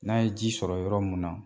N'a ye ji sɔrɔ yɔrɔ mun na